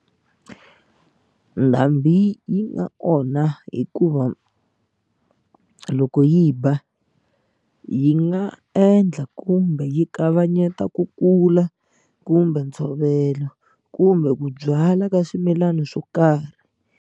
Ndhambi yi nga onha hikuva loko yi ba yi nga endla kumbe yi kavanyeta ku kula kumbe ntshovelo kumbe ku byala ka swimilana swo karhi.